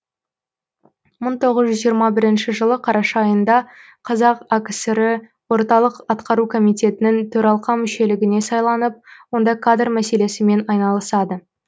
мың тоғыз жүз жиырма бірінші жылы қараша айында қазақ акср і орталық атқару комитетінің төралқа мүшелігіне сайланып онда кадр мәселесімен айналысады